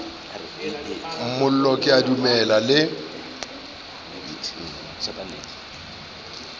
mollo ke a dumela le